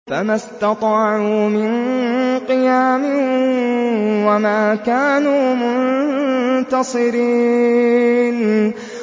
فَمَا اسْتَطَاعُوا مِن قِيَامٍ وَمَا كَانُوا مُنتَصِرِينَ